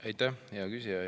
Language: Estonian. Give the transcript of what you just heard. Aitäh, hea küsija!